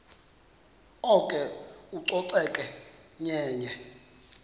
oko ucoceko yenye